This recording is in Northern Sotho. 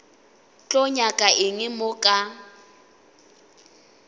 tlo nyaka eng mo ka